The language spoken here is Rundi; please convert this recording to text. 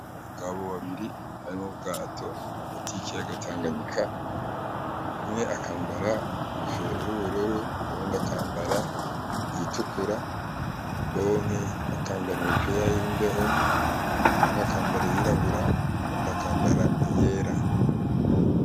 Abagabo babiri bari mu bwato hagati y’ikiyaga tanganyika , umwe akambara inkofero y’ubururu uwundi akambara iyitukura , Bompi bakambara imipira y’imbeho , umwe akambara iyurabura uyundi akambara iyera.